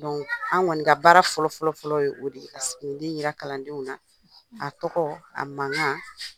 an kɔni ka baara fɔlɔ-fɔlɔ-fɔlɔ ye o de ye, ka sigininden jira kalandenw na a tɔgɔ a mankan